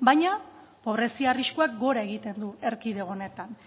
baina pobrezia arriskuak gora egiten du erkidego honetan